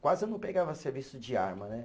Quase eu não pegava serviço de arma, né?